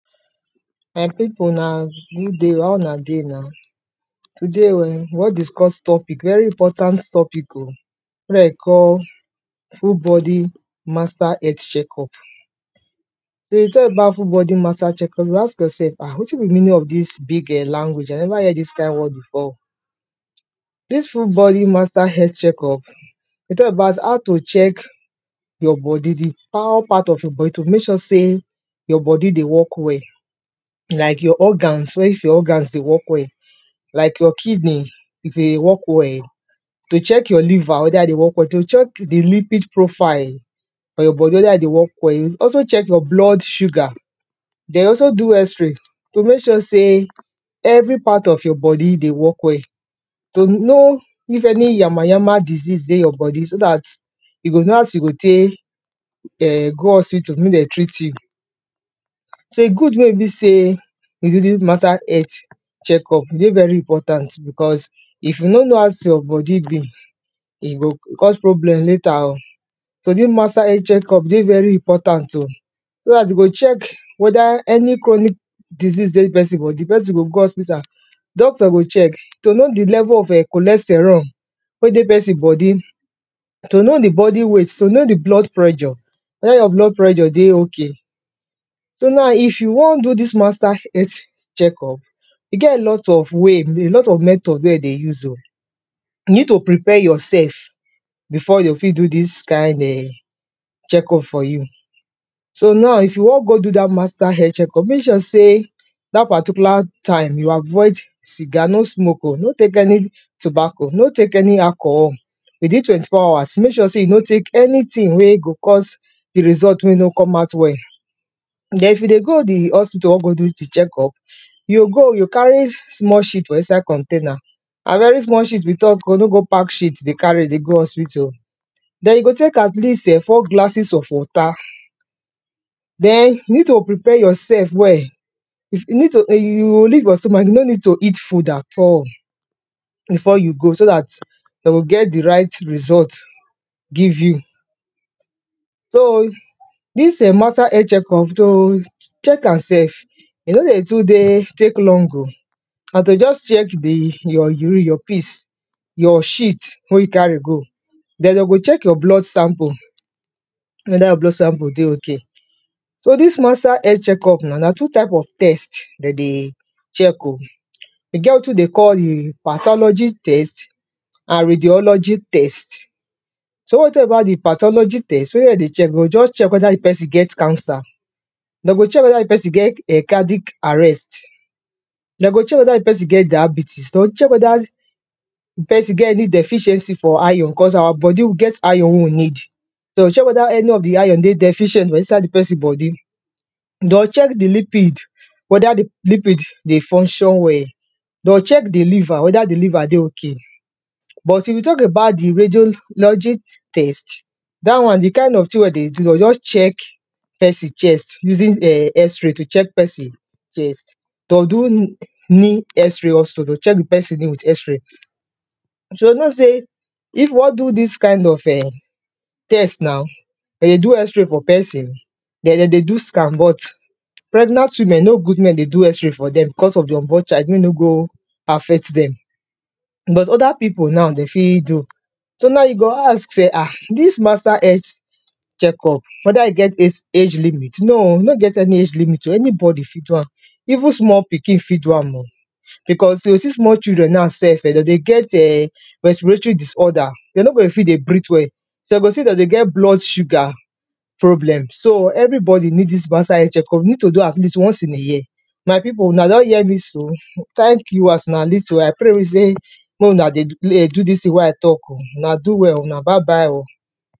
my pipu una gooday o how una dey na? today eh we won discuss topic very important topic o we de call full bodi master health checkup so d thing about full bodi master healt checkup you go ask yourself wetin be di meaning of dis big eh language i neva hear dis kind word befor o. dis full bodi master health checkup, talk about how to check your bodi d entire part of your bodi to mek sure sey your bodi dey work well like your organs sey if your organs dey work well, like your kidney if e dey work well to check your liver weda e dey work well to check your profile of your bodi weda e dey work well you also check your blood sugar, den you also do x-ray to mek sure sey every part of your bodi dey work well, to know if any yamayam disease dey you bodi so dat you go know as you go tek [um]go hospital mey den treat you. so e good mey e be say e dey very important because if you no know as your bodi be, e go cause problem later o. so dis master health checkup dey very important o so dat you go check weda any chronic disease dey pesin bodi pesin go go hospital dovtor go check to know di level of [um]cholesterol wey dey pesin bodi to know di bodi weight, to know di blood pressure weda your blood pressure dey ok. so now if you won do dis master health checkup, e get a lot of way a lot of method wey e dey use oh. you need to prepare yourselfbefore de fit do dis kind of checkup for you. so now if you won go do dat master checkup mek sure sey dat particular time you avoid cigar no smoke o, no tek any tubaco no tek any alcohol, with in twenty-four housrs mek sure sey you no tek anytin wey go cause di result mey e no come out well. den if you dey go di hospital won go do di checkup, you go you go carry small for inside container na very small sheet we talk o no go park sheet dey cari dey go hospital o. den you go tek at least eh four glasses of wata, den you need to prepare yourself well you need sheet you no need to eat food at all before you go so dat den go get di right result give you so dis um master health checkup to check am self, e no dey too dey tek long o na to jus check your urine your piss your sheet wen you carry go, den de go check your blood sample weda your blood sample dey ok. So dis master health check up na na two types of test, den dey check o. e get wetin dey call um patology test, and radiology test. so wen we talk about di patology test wetin de dey check we go just check weda di pesin get cancer, de go check weda di psin get cardic arrest de go check weda di pesin get diabitis, de go check weda d person get any deficiency for iron cause our bodi e get iron wey we need so den go check weda any of di iron dey deficient for inside di person bodi. Den check di lipid weda lipid dey function well. den check di liver weda di liver dey ok, but if you talk about di radiologic test, dat won di kind of tin wey de dey do de o just check pesin chest usig [um]x-ray to check pesin chest. den do new new xray also to de check di pesin with xray. So you know say if you won do dis kind of um test now den go do xray for pesin den dey do scan but pregnant women e no good mey dem do xray for dem because of di unborn child mey e no go affect dem but other pipu na de fi do. So now you go ask say this master health check up weda e get age age limit no o e no get any age limit o anybody fi do am even small pikin ft do am o because u go see small children now sef um den dey get respiratory disorder den no dey fi dey breath well some dey sey dem dey get blood sugar problem so everybodi need dis master health check up e need to be at least once in a year. my pipu una don hear me so? tank you as una lis ten I pray sa mey una dey do dey do dis tin wey i talk oh una do well oh una bye bye o.